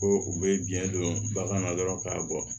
Ko u bɛ biɲɛ don bagan na dɔrɔn k'a bɔ